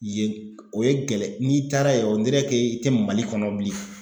Yen k o ye gɛlɛ n'i taara ye i tɛ Mali kɔnɔ bilen.